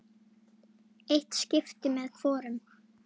Eitt skipti með hvorum.